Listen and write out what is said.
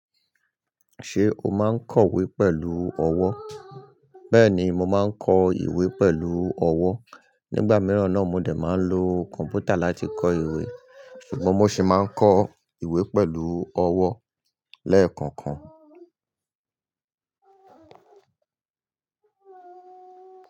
Ṣé o máa ń kọ ìwé pẹ̀lú ọwọ́? Bẹ́ẹ̀ni, mo máa ń kọ ìwé pẹ̀lú ọwọ́. Nígbà mìíràn ni mo dè máa ń lo kọ̀m̀pútà láti kọ ìwé. Ṣùgbọ́n mo sì máa ń kọ ìwé pẹ̀lú ọwọ́ lẹ́ẹ̀kọ̀kan.